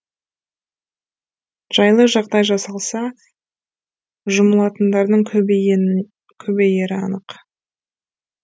жайлы жағдай жасалса жұмылатындардың көбейері анық